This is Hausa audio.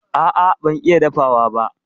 A'a ban iya dafawa ba.